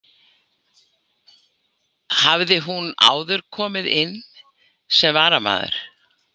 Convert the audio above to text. Hafði hún áður komið inn sem varamaður.